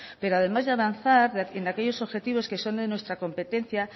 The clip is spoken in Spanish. pero además de avanzar en aquellos objetivos que son de nuestra competencia